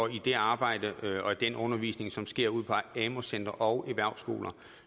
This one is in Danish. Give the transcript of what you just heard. i det arbejde og den undervisning som sker ude på amu centre og erhvervsskoler